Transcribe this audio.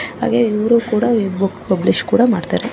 ಹಾಗೆ ಇವರು ಕೂಡ ಬುಕ್ ಪಬ್ಲಿಶ್ ಕೂಡ ಮಾಡ್ತಾರೆ .